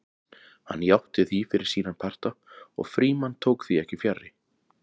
Hann játti því fyrir sína parta og Frímann tók því ekki fjarri.